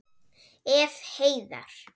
Ef. heiðar